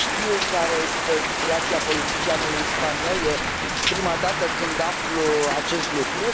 Nu știu care este situația politicianului spaniol. E prima dată când aflu acest lucru.